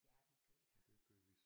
Ja vi gjorde da